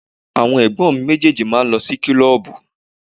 Àwọn ẹ̀gbọ́n mi méjèèjì máa ń lọ kílọ́ọ̀bù.